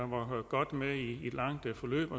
var godt med i et langt forløb